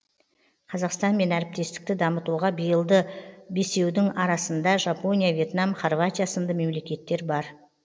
қазақстанмен әріптестікті дамытуға биылды бесеудің арасында жапония вьетнам харватия сынды мемлекеттер бар